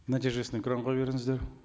нәтижесін экранға беріңіздер